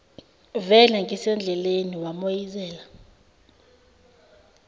vele ngisendleleni wamoyizela